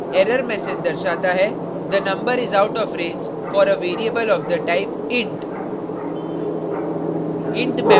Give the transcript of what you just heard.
error message दर्शाता है the number is out of range for a variable of the type int